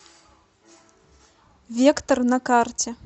вектор на карте